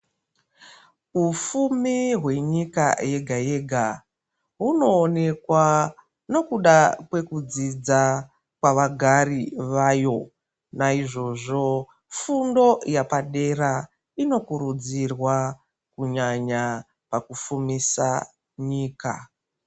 Ufumi hwenyika yega yega hunoonekwa nekuda kwekudzidza pavagari vayo naizvozvo fundo yapadera inokurudzirwa kunyanya pakufumisa nyika.